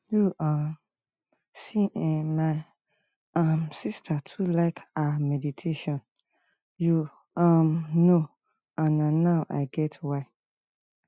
you um see eh my um sister too like ah meditation you um know and na now i get why